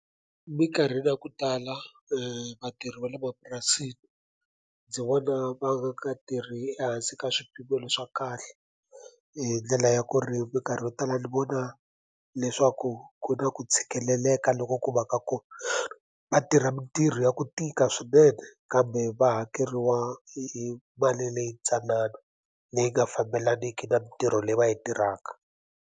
Minkarhini ya ku tala vatirhi va le mapurasini ndzi vona va nga tirhi ehansi ka swipimelo swa kahle hi ndlela ya ku ri minkarhi yo tala ni vona leswaku ku na ku tshikeleleka loku ku va ka ko va tirha mintirho ya ku tika swinene kambe va hakeriwa hi mali leyi tsanana leyi nga fambelaniki na mintirho leyi va yi tirhaka.